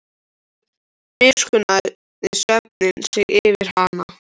Síðan miskunnaði svefninn sig yfir hana.